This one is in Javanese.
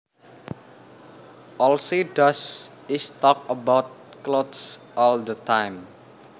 All she does is talk about clothes all the time